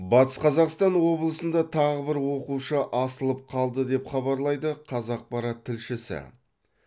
батыс қазақстан облысында тағы бір оқушы асылып қалды деп хабарлайды қазақпарат тілшісі